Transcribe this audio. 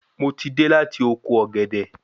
Mo ti de láti oko ògèdè